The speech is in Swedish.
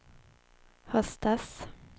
höstas